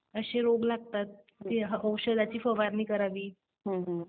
असे रोग लागतात. मग औषधाची फवारणी करावी.